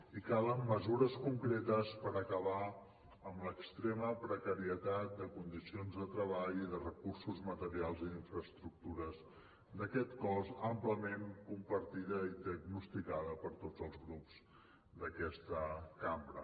i calen mesures concretes per acabar amb l’extrema precarietat de condicions de treball i de recursos materials i d’infraestructures d’aquest cos àmpliament compartida i diagnosticada per tots els grups d’aquesta cambra